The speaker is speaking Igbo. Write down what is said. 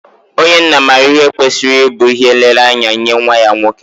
Onye nna maara ihe kwesịrị ịbụ ihe nlereanya nye nwa ya nwoke.